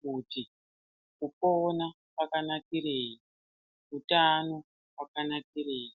kuti kupona kwakanakirei utano hwakanakirei